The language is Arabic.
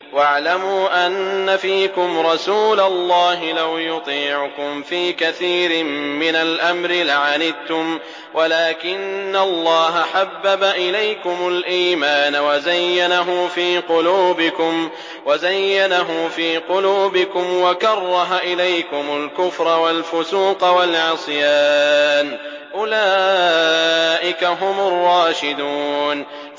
وَاعْلَمُوا أَنَّ فِيكُمْ رَسُولَ اللَّهِ ۚ لَوْ يُطِيعُكُمْ فِي كَثِيرٍ مِّنَ الْأَمْرِ لَعَنِتُّمْ وَلَٰكِنَّ اللَّهَ حَبَّبَ إِلَيْكُمُ الْإِيمَانَ وَزَيَّنَهُ فِي قُلُوبِكُمْ وَكَرَّهَ إِلَيْكُمُ الْكُفْرَ وَالْفُسُوقَ وَالْعِصْيَانَ ۚ أُولَٰئِكَ هُمُ الرَّاشِدُونَ